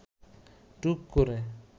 টুক করে